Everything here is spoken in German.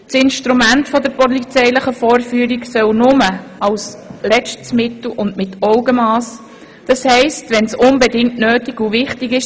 Das Instrument der polizeilichen Vorführung soll nur als letztes Mittel und mit Augenmass erfolgen, das heisst, nur wenn es unbedingt notwendig und wichtig ist.